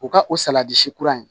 U ka o salati si kura in